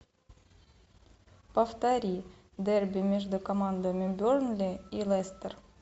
повтори дерби между командами бернли и лестер